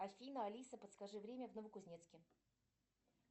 афина алиса подскажи время в новокузнецке